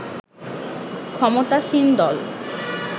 ক্ষমতাসীন দল